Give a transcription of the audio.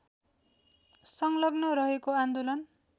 संलग्न रहेको आन्दोलन